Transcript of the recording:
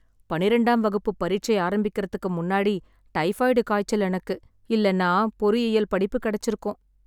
பன்னிரெண்டாம் வகுப்பு பரீட்சை ஆரம்பிக்க முன்னாடி டைபாய்டு காய்ச்சல் எனக்கு. இல்லைனா பொறியியல் படிப்பு கிடைச்சுருக்கும்.